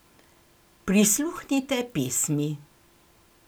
Prisluhnite pesmi!